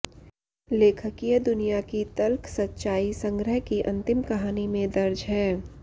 लेखकीय दुनिया की तल्ख सच्चाई संग्रह की अंतिम कहानी में दर्ज है